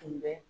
Tun bɛ